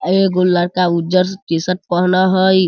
एगो लड़का उजर टी-शर्ट पहना हई।